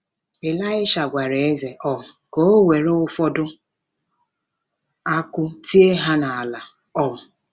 Ịlaịsha gwara eze um ka o were ụfọdụ akụ́ tie ha n’ala um.